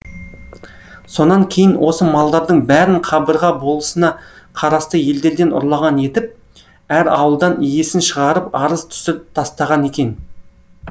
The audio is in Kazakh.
сонан кейін осы малдардың бәрін қабырға болысына қарасты елдерден ұрлаған етіп әр ауылдан иесін шығарып арыз түсіріп тастаған екен